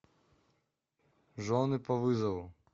жены по вызову